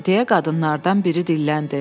deyə qadınlardan biri dilləndi.